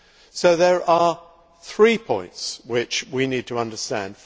So there are three points which we need to understand.